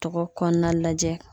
Tɔgɔ kɔɔna lajɛ